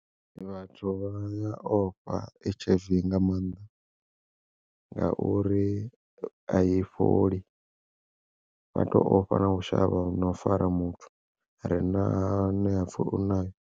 Vhathu vha ya ofha H_I_V nga maanḓa ngauri ai fholi, vha to ofha na u shavha no u fara muthu are na ane vhapfha uri u nayo.